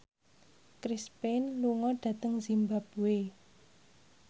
Chris Pane lunga dhateng zimbabwe